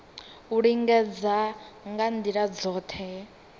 u lingedza nga ndila dzothe